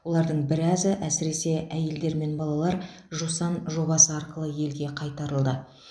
олардың біразы әсіресе әйелдер мен балалар жусан жобасы арқылы елге қайтарылды